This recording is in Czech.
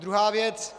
Druhá věc -